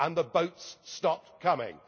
And the boats stopped coming.